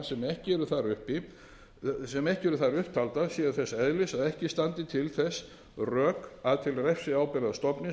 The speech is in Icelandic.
ekki eru þar upp taldar séu þess eðlis að ekki standi til þess rök að til refsiábyrgðar stofnist